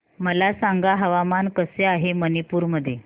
मला सांगा हवामान कसे आहे मणिपूर मध्ये